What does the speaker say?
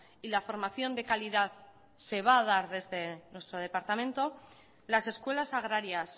y la formación de calidad se va a dar desde nuestro departamento las escuelas agrarias